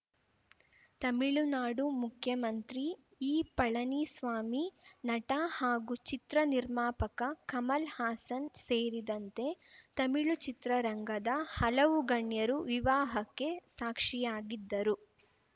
ತಮಿಳುನಾಡು ಮುಖ್ಯಮಂತ್ರಿ ಇಪಳನಿಸ್ವಾಮಿ ನಟ ಹಾಗೂ ಚಿತ್ರ ನಿರ್ಮಾಪಕ ಕಮಲ್‌ ಹಾಸನ್‌ ಸೇರಿದಂತೆ ತಮಿಳು ಚಿತ್ರರಂಗದ ಹಲವು ಗಣ್ಯರು ವಿವಾಹಕ್ಕೆ ಸಾಕ್ಷಿಯಾಗಿದ್ದರು